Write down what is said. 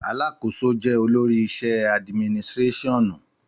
Àlàkósò jẹ òlòrí ìsẹ adímínìsirẹsiọnu